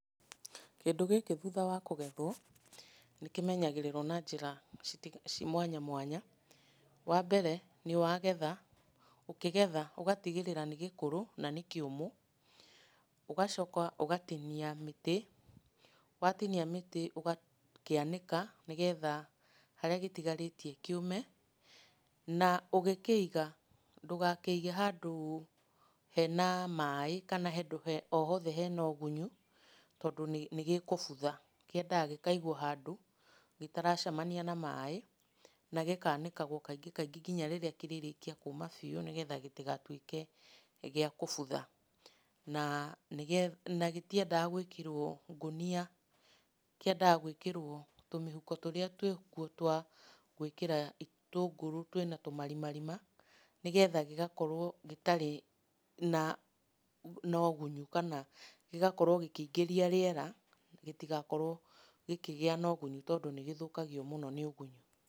Kĩndũ gĩkĩ thutha wa kũgethwo, nĩkĩmenyagĩrĩrwo na njĩra mwanya mwanya. Wambere nĩ wagetha, ũkĩgetha ũgatigĩrĩra nĩ gĩkũrũ, na nĩ kĩũmũ, ũgacoka ũgatinia mĩtĩ, watinia mĩtĩ ũgakĩanĩka nĩgetha harĩa gĩtigarĩtie kĩũme na ũgĩkĩiga, ndũgakĩige handũ hena maĩ, kana handũ o hothe hena ũgunyu, tondũ nĩgĩkũbutha. Kĩendaga gĩkaigwo handũ gĩtaracemania na maĩ, na gĩkanĩagwo kaingĩ kaingĩ kinya rĩrĩa kĩrĩrĩkia kũma biũ nĩgetha gĩtigatuĩke nĩ gĩa kũbutha. Na, nĩgetha na gĩtiendaga gwĩkĩrwo ngũnia, kĩendaga gwĩkĩrwo tũmĩhuko tũrĩa twĩkuo twa gwĩkĩra itũngũrũ twĩna tũmarimarima, nĩgetha gĩgakorwo gĩtarĩ na ũgunyu kana gĩgakorwo gĩkĩingĩria rĩera, gĩtigakorwo gĩkĩgĩa na ũgunyu tondũ nĩgĩthũkagio mũno nĩ ũgunyu.